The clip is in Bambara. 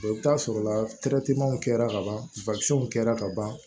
i bɛ taa sɔrɔ la kɛra ka ban kɛra ka ban